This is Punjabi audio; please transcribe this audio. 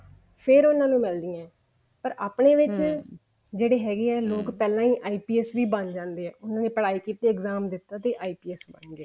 ਫ਼ੇਰ ਉਹਨਾ ਨੂੰ ਮਿਲਦੀਆਂ ਪਰ ਜਿਹੜੇ ਲੋਕ ਹੈਗੇ ਆ ਪਹਿਲਾਂ ਹੀ IPS ਹੀ ਬਣ ਜਾਂਦੇ ਆ ਉਹਨਾ ਨੇ exam ਦਿੱਤੇ ਤੇ IPS ਬਣ ਗਿਆ